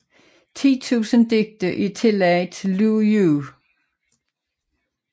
Ti tusinde digte er tillagt Lu Yu